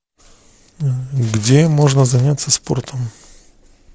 где можно заняться спортом